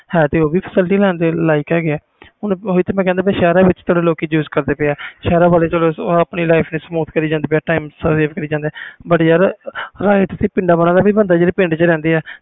ਹੈ ਤੇ facilities ਉਹ ਵੀ ਲੈ ਰਹੇ ਨੇ ਹੁਣ ਸ਼ਹਿਰ ਵਿਚ ਲੋਕੀ use ਕਰਦੇ ਪਏ ਆ ਸ਼ਹਿਰ ਵਾਲੇ ਆਪਣੀ life ਨੂੰ smooth ਕਰਿ ਜਾਂਦੇ ਆ but ਯਾਰ ਹੱਕ ਪਿੰਡਾਂ ਵਾਲਿਆਂ ਦਾ ਵੀ ਬਣਦਾ